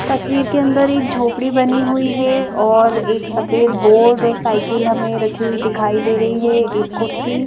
तस्वीर एक झोपड़ी बनी हुई है और एक सफेद बोर्ड और साइकिल हमें रखी हुई दिखाई दे रही है एक कुर्सी--